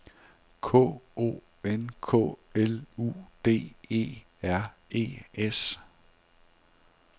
K O N K L U D E R E S